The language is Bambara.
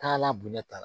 Taalan bonya t'a la